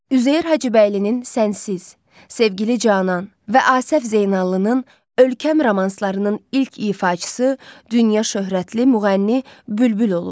Üzeyir Hacıbəylinin “Sənsiz”, “Sevgili canan” və Asəf Zeynallının “Ölkəm” romanslarının ilk ifaçısı dünya şöhrətli müğənni Bülbül olub.